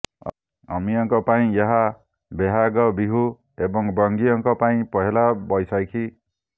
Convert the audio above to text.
ଅହମୀୟଙ୍କ ପାଇଁ ଏହା ବୋହାଗ ବିହୁ ଏବଂବଙ୍ଗୀୟଙ୍କ ପାଇଁ ପହେଲା ବୈଶାଖୀ